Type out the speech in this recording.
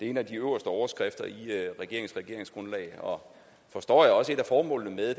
en af de øverste overskrifter i regeringsgrundlaget og forstår jeg også et af formålene med